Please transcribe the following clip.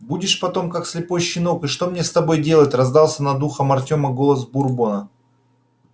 будешь потом как слепой щенок и что мне с тобой делать раздался над ухом артёма голос бурбона